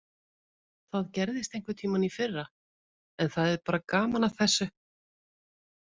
Það gerðist einhverntímann í fyrra en það er bara gaman að þessu.